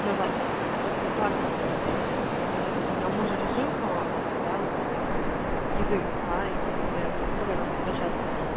на завтра к доктору карпову вот на узи у меня у мужа режим как бы да как-то еды да и просто я не представляю как он до часу